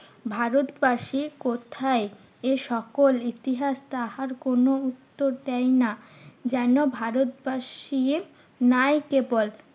ভারতবাসী কোথায় এসকল ইতিহাস তাহার কোনো উত্তর দেয় না। যেন ভারতবাসীর নেয় কেবল